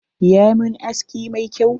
Ya mun aski mai kyau.